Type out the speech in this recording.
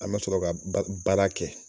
An be sɔrɔ ka baara kɛ.